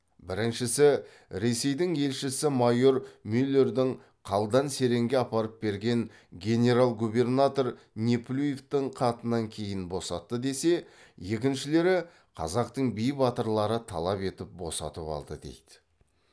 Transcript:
біріншісі ресейдің елшісі майор мюллердің қалдан серенге апарып берген генерал губернатор неплюевтің хатынан кейін босатты десе екіншілері қазақтың би батырлары талап етіп босатып алды дейді